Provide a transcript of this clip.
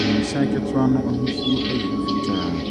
Wiemhyɛn ketewa no ahosuo ɛyɛ fitaa.